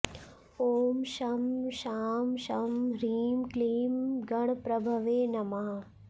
ॐ शं शां षं ह्रीं क्लीं गणप्रभवे नमः